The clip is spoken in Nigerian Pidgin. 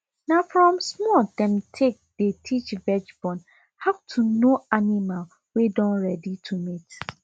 na from small dem take dey teach viage born how to know animal wey don ready to mate